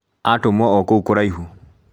Atũmwo okũu kũraihu